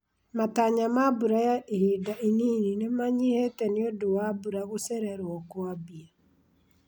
Matanya ma mbura ya ihinda inini nĩmanyihĩte nĩũndũ wa mbura gũcererwo kwambia